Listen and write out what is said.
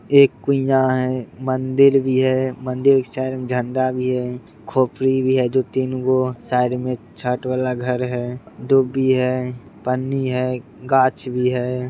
एक कुइयाँ है | मंदिर भी है मंदिर साइड में झंडा भी है | खोपड़ी भी है दो तीन गो साइड में छत वाला घर है डुब्बी है पन्नी है गाछ भी है।